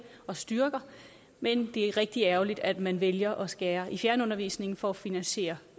og styrker men det er rigtig ærgerligt at man vælger at skære i fjernundervisningen for at finansiere